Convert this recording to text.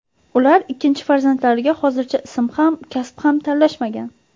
Ular ikkinchi farzandlariga hozircha ism ham, kasb ham tanlashmagan.